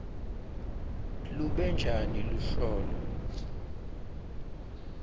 lube njani luhlolo